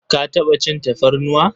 Ka taɓa cin tafarnuwa?